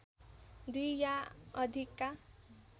दुई या अधिकका